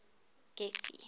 getty